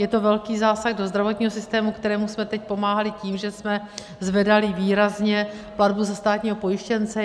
Je to velký zásah do zdravotního systému, kterému jsme teď pomáhali tím, že jsme zvedali výrazně platbu za státního pojištěnce.